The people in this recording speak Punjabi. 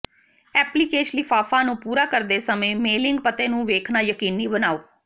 ਐਪਲੀਕੇਸ਼ ਲਿਫ਼ਾਫ਼ਾ ਨੂੰ ਪੂਰਾ ਕਰਦੇ ਸਮੇਂ ਮੇਲਿੰਗ ਪਤੇ ਨੂੰ ਵੇਖਣਾ ਯਕੀਨੀ ਬਣਾਓ